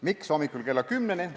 Miks hommikul kella kümneni?